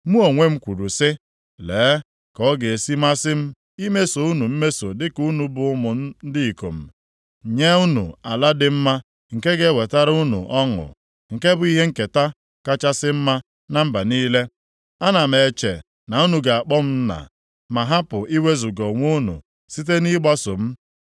“Mụ onwe m kwuru sị, “ ‘Lee ka ọ ga-esi masị m imeso unu mmeso dịka unu bụ ụmụ m ndị ikom, nye unu ala dị mma nke ga-ewetara unu ọṅụ, nke bụ ihe nketa kachasị mma na mba niile.’ Ana m eche na unu ga-akpọ m ‘Nna’ ma hapụ iwezuga onwe unu site nʼịgbaso m.